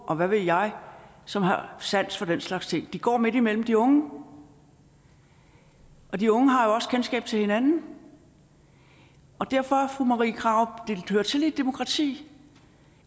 og hvad ved jeg som har sans for den slags ting de går midt imellem de unge og de unge har jo også kendskab til hinanden derfor fru marie krarup det hører til i et demokrati